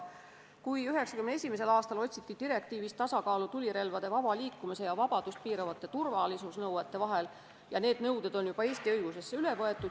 1991. aastal otsiti direktiivis tasakaalu tulirelvade vaba liikumise ja liikumisvabadust piiravate turvalisusnõuete vahel ning need nõuded on Eesti õigusesse juba üle võetud.